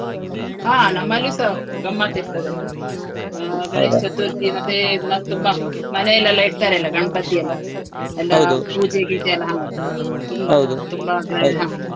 ಹ ನಮ್ಮಲಿಸ ಗಮ್ಮತ್ ಇರ್ತದೆ, ಆ ಮತ್ತೆ ಮನೆಯಲ್ಲೆಲ್ಲ ಇಡ್ತಾರೆ ಅಲ್ಲ ಗಣಪತಿ ಎಲ್ಲ. ಪೂಜೆ ಗೀಜೆ ಎಲ್ಲ ಹ, ತುಂಬಾ .